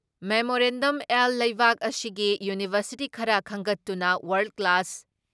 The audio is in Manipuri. ꯃꯦꯃꯣꯔꯦꯟꯗꯝ ꯑꯦꯜ ꯂꯩꯕꯥꯛ ꯑꯁꯤꯒꯤ ꯌꯨꯅꯤꯚꯔꯁꯤꯇꯤ ꯈꯔ ꯈꯟꯒꯠꯇꯨꯅ ꯋꯥꯔꯜ ꯀ꯭ꯂꯥꯁ